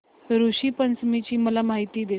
ऋषी पंचमी ची मला माहिती दे